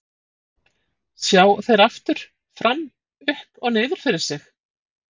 Sjá þeir aftur, fram, upp og niður fyrir sig?